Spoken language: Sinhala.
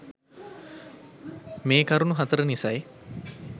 මේ කරුණු හතර නිසයි